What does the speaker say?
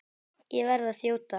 Ég verð að þjóta.